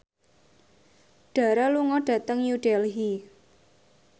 Dara lunga dhateng New Delhi